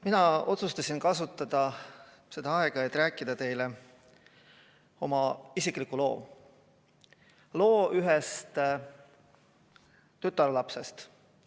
Mina otsustasin kasutada seda aega, et rääkida teile loo ühest tütarlapsest.